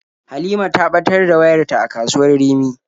Halima ta ɓatar da wayarta a kasuwar Rimi.